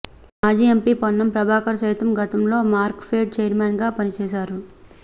మాజీ ఎంపీ పొన్నం ప్రభాకర్ సైతం గతంలో మార్క్ఫెడ్ చైర్మెన్గా పనిచేశారు